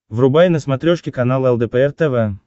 врубай на смотрешке канал лдпр тв